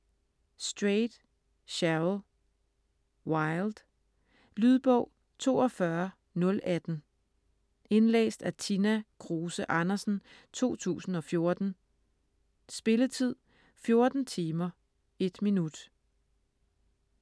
Strayed, Cheryl: Wild Lydbog 42018 Indlæst af Tina Kruse Andersen, 2014. Spilletid: 14 timer, 1 minut.